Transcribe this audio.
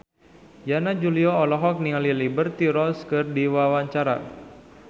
Yana Julio olohok ningali Liberty Ross keur diwawancara